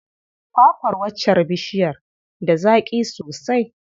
Kwa kwar waccar bishiyar da zaƙi sosai.